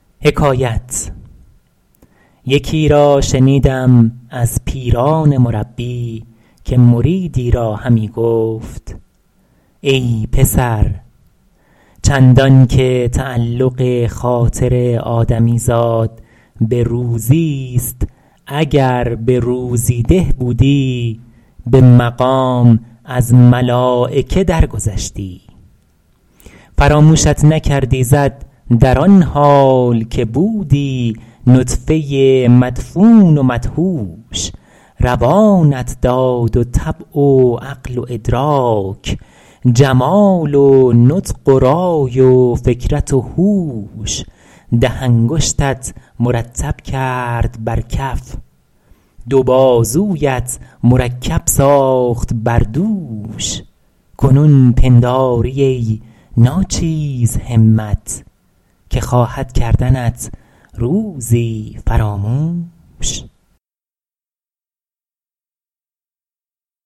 یکی را شنیدم از پیران مربی که مریدی را همی گفت ای پسر چندان که تعلق خاطر آدمی زاد به روزی ست اگر به روزی ده بودی به مقام از ملایکه در گذشتی فراموشت نکرد ایزد در آن حال که بودی نطفه مدفون و مدهوش روانت داد و طبع و عقل و ادراک جمال و نطق و رای و فکرت و هوش ده انگشتت مرتب کرد بر کف دو بازویت مرکب ساخت بر دوش کنون پنداری ای ناچیز همت که خواهد کردنت روزی فراموش